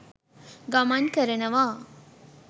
ගමන් කරනවා.